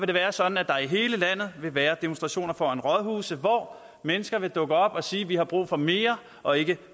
det være sådan at der i hele landet vil være demonstrationer foran rådhuse hvor mennesker vil dukke op og sige at de har brug for mere og ikke